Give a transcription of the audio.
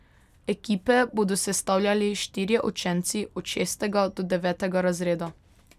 Ekipe bodo sestavljali štirje učenci od šestega do devetega razreda.